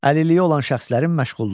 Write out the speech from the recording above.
Əlilliyi olan şəxslərin məşğulluğu.